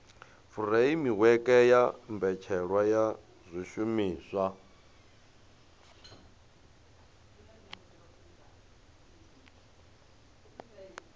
furemiweke ya mbetshelwa ya zwishumiswa